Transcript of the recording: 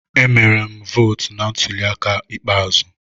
Emere m vootu na ntuli aka ikpeazụ.